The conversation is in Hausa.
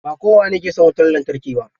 Ba kowane ke son wutar lantarki ba.